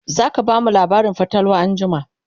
zaka bamu labarin fatalwa anjima?